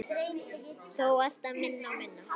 Þó alltaf minna og minna.